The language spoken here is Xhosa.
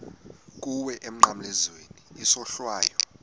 kuwe emnqamlezweni isohlwayo